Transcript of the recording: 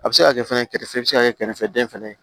A bɛ se ka kɛ fɛnɛ kɛrɛfɛ bɛ se ka kɛ kɛrɛfɛden fana ye